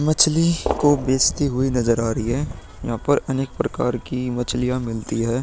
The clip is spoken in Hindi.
मछली को बेचती हुई नजर आ रही है। यहाँ पर अनेक प्रकार की मछलियां मिलती है।